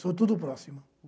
São tudo próxima.